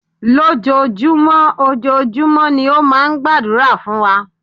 Lójojúmọ́, ojojúmọ́ ni ó máa ń gbàdúrà fún wa.